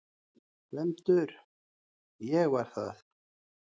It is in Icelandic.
GVENDUR: Ég var það!